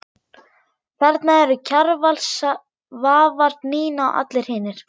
Þarna eru Kjarval, Svavar, Nína og allir hinir.